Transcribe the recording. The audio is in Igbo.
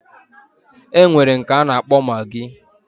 Enwere nke ana akpo maggi